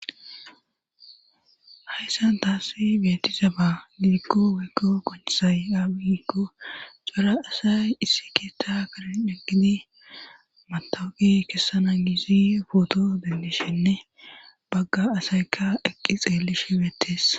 Hayssan taani beetizaba gidikko woyyko qonccizay maybe giikko cora asay issi keetta Karen eqqidi matawoqe kessana gizi pooto denddishenne bagga asaykka eqqi xeellishe beettes.